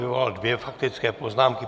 Vyvolal dvě faktické poznámky.